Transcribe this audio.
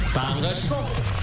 таңғы шоу